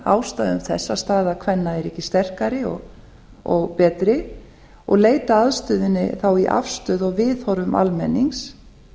ástæðum þess að staða kvenna er ekki sterkari og betri og leita að ástæðunni þá í afstöðu og viðhorfum almennings